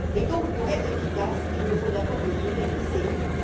Et donc, pour être efficace, il nous faut d'abord mesurer les effets.